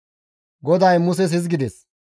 GODAY Muses hizgides,